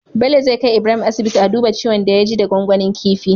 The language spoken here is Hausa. Bello zai kai Ibrahim asibiti a duba ciwon da ya ji da gwangwanin kifin